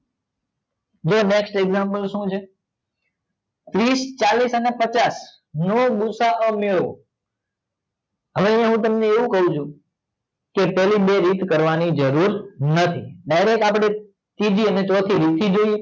જોવો next example શું છે ત્રીસ ચાલીસ અને પચાસ નો ગૂસાઅ મેળવો હવે આય હું તમેં એવું કાવ છું પેલી બે રીત કરવાની જરૂર નથી ડાઇરેક્ટ આપડે ત્રીજી અને ચોથી રીત થી જોઈએ